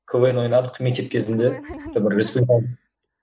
квн ойнадық мектеп кезінде